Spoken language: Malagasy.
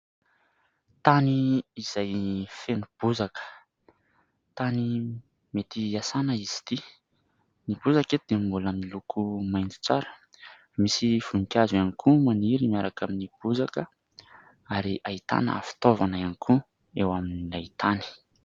Tany izay feno bozaka tany mety iasana izy ity. Ny bozaka eto dia mbola miloko mainty tsara. Misy voninkazo ihany koa maniry miaraka amin'ny bozaka ary ahitana fitaovana ihany koa eo amin'ilay tany.